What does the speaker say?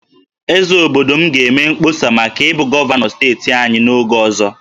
Eze obodo m ga-eme mkpọsa maka ịbụ gọvanọ steeti anyị n'oge ọzọ